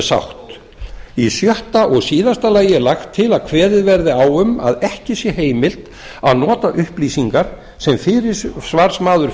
sátt sjötta lagt er til að kveðið verði á um að ekki sé heimilt að nota upplýsingar sem fyrirsvarsmaður